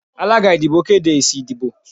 alagá ìdíbò kedé ésí ìdíbò